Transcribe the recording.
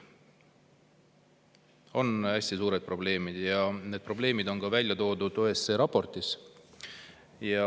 On hästi suured probleemid ja need probleemid on välja toodud ka OSCE raportis.